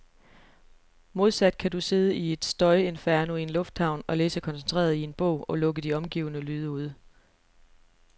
Modsat kan du sidde i et støjinferno i en lufthavn og læse koncentreret i en bog, og lukke de omgivende lyde ude.